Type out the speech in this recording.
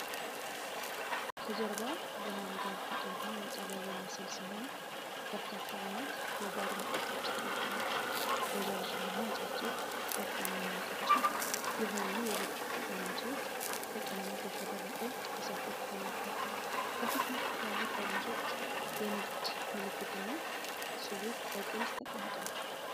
ከጀርባ ብርሃን ጋር ተቃርኖ የቀረበ ምስል ሲሆን፣ በርካታ ዓይነት የባር መጠጦች ተደርድረዋል። ረዣዥምና አጫጭር፣ ወፍራም እና ቀጭን የሆኑ የብርጭቆ ጠርሙሶች በቀለማት ያሸበረቁ ፈሳሾች ተሞልተዋል። ከፊት ለፊት ያሉት ጠርሙሶች የንግድ ምልክትና ጽሑፍ በግልጽ የተቀምጠዋል።